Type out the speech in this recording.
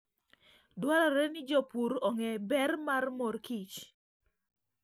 Dwarore ni jopur ong'e ber mar mor kich.